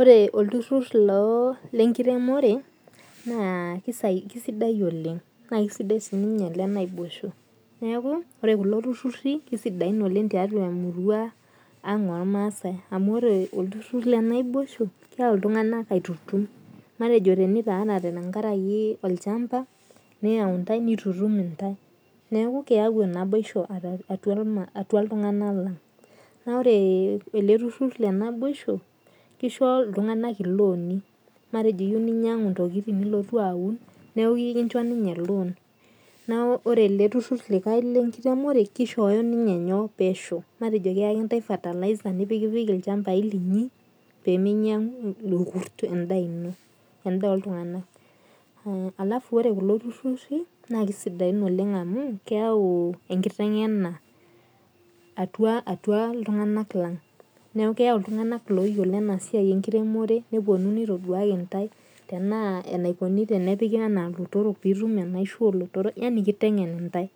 Ore olturrur lo lenkiremore, naa kisidai oleng. Na kesidai sinye ole naboisho. Neeku ore kulo turrurri kisidain oleng tiatua emurua ang ormaasai. Amu ore olturrur lenaiboisho, keeu iltung'anak aitutum. Matejo tenitaanate tenkaraki olchamba, neu ntai nitutum intae. Neeku keu naboisho atua iltung'anak lang. Na ore ele turrurr lenaboisho, kisho iltung'anak iloni. Matejo iyieu ninyang'u intokiting nilotu aun, neeku iyieu nikincho ninye lon. Neku ore ele turrurr likae lenkitemore kishooyo ninye nyoo, pesho. Matejo keeki ntae fertiliser nipikipiki ilchambai linyi, peminyang'u irkurt endaa ino. Endaa oltung'anak. Alafu ore kulo turrurri, naa kisidain oleng amu, keu enkiteng'ena atua iltung'anak lang. Neeku keu iltung'anak loyiolo enasiai enkiremore, neponu nitoduaki ntae tenaa enaikoni tenepiki enaa lotorok pitum enaisho olotorok, yani kiteng'en intae.